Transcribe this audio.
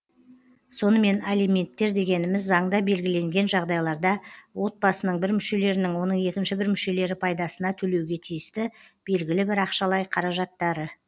сонымен алименттер дегеніміз заңда белгіленген жағдайларда отбасының бір мүшелерінің оның екінші бір мүшелері пайдасына төлеуге тиісті белгілі бір ақшалай қаражаттары